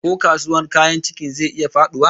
Ko kasuwar kayan kicin zai iya faduwa?